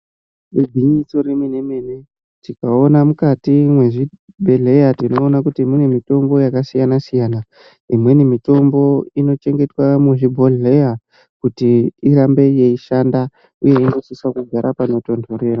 Igwinyiso remene-mene. Tikaona mukati mwezvibhehleya tinoona kuti mune mitombo yakasiyana-siyana, imweni mitombo inochengetwa muzvibhodhleya kuti irambe yeishanda uye inosisa kugara pano tonhorerera.